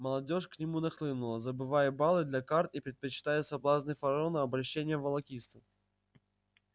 молодёжь к нему нахлынула забывая балы для карт и предпочитая соблазны фараона обольщениям волокитства